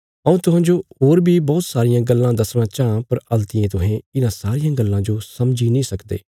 हऊँ तुहांजो होर बी बौहत सारियां गल्लां दसणा चांह पर हल्तियें तुहें इन्हां सारियां गल्लां जो समझी नीं सकदे